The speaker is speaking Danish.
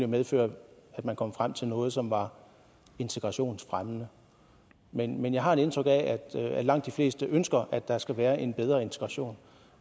medføre at man kom frem til noget som var integrationsfremmende men men jeg har et indtryk af at langt de fleste ønsker at der skal være en bedre integration